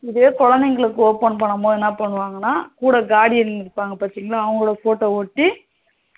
இதே குழந்தைகளுக்கு open பண்ணும் போது என்ன பண்ணுவாங்கன்ன கூட guardian இருப்பாங்க பாத்தீங்களா அவங்க photo ஒட்டி